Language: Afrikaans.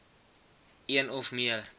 een of meer